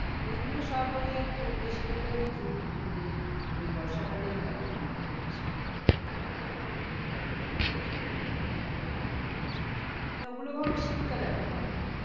ওই গুলো সব ওই খুব বেশি হলে ওই জুন মানে ওই বর্ষা কালেই হয় জুন জুলাই মাসে এই প্রাকৃতিক দুর্যোগ গুলো আচ্ছা আচ্ছা মানে ও গুলো কখনো শীতকালে হয় না তো?